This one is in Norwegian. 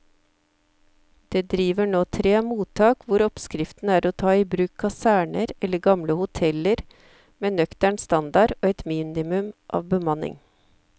Det driver nå tre mottak hvor oppskriften er å ta i bruk kaserner eller gamle hoteller med nøktern standard og et minimum av bemanning.